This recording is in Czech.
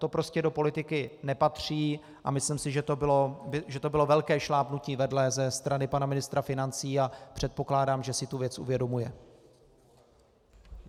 To prostě do politiky nepatří a myslím si, že to bylo velké šlápnutí vedle ze strany pana ministra financí, a předpokládám, že si tu věc uvědomuje.